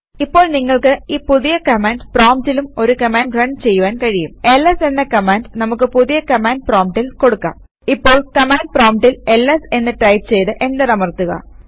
ഇപ്പോൾ നിങ്ങൾക്ക് ഈ പുതിയ കമാൻഡ് പ്രോംപ്റ്റിലും ഒരു കമാൻഡ് റൺ ചെയ്യുവാൻ കഴിയുംls എന്ന കമാൻഡ് നമുക്ക് പുതിയ കമാൻഡ് പ്രോംപ്റ്റിൽ കൊടുക്കാം ഇപ്പോൾ കമാൻഡ് പ്രോംപ്റ്റിൽ എൽഎസ് എന്ന് ടൈപ് ചെയ്ത് എന്റർ അമർത്തുക